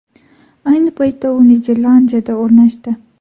Ayni paytda u Niderlandiyada o‘rnashdi .